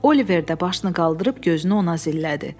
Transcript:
Oliver də başını qaldırıb gözünü ona zillədi.